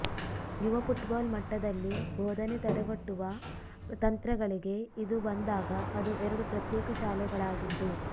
ಯುವ ಫುಟ್ಬಾಲ್ ಮಟ್ಟದಲ್ಲಿ ಬೋಧನೆ ತಡೆಗಟ್ಟುವ ತಂತ್ರಗಳಿಗೆ ಇದು ಬಂದಾಗ ಅದು ಎರಡು ಪ್ರತ್ಯೇಕ ಶಾಲೆಗಳಾಗಿದ್ದು